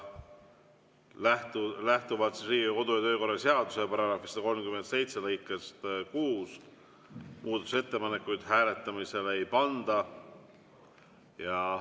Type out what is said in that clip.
Lähtuvalt Riigikogu kodu- ja töökorra seaduse § 137 lõikest 6 muudatusettepanekuid hääletamisele ei panda.